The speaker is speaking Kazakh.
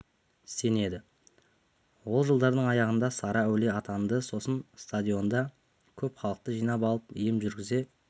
сенеді ол жылдардың аяғында сары әулие атанды сосын стадионда көп халықты жинап алып ем жүргізе